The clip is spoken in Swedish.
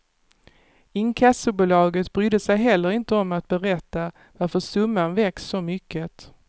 Inkassobolaget brydde sig heller inte om att berätta varför summan växt så mycket.